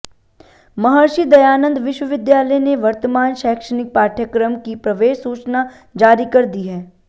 महर्षि दयानंद विश्वविद्यालय ने वर्तमान शैक्षणिक पाठ्यक्रम की प्रवेश सूचना जारी कर दी है